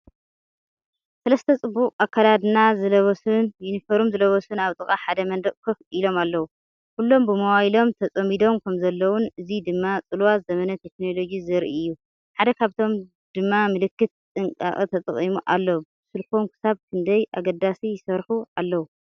ሰለስተ ጽቡቕ ኣከዳድና ዝለበሱን ዩኒፎርም ዝለበሱን ኣብ ጥቓ ሓደ መንደቕ ኮፍ ኢሎም ኣለዉ። ኩሎም ብሞባይሎም ተጸሚዶም ከምዘለዉን፡ እዚ ድማ ጽልዋ ዘመነ ቴክኖሎጂ ዘርኢ እዩ። ሓደ ካብኣቶም ድማ ምልክት ጥንቃቐተጠቒሙ ኣሎ። ብስልኮም ክሳብ ክንደይ ኣገዳሲ ይሰርሑ ኣለዉ?